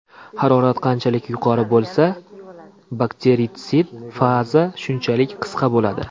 Harorat qanchalik yuqori bo‘lsa, bakteritsid faza shunchalik qisqa bo‘ladi.